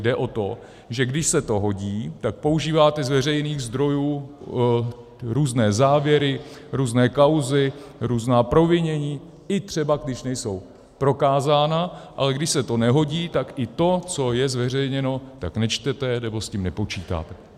Jde o to, že když se to hodí, tak používáte z veřejných zdrojů různé závěry, různé kauzy, různá provinění, i třeba když nejsou prokázána, ale když se to nehodí, tak i to, co je zveřejněno, tak nečtete nebo s tím nepočítáte.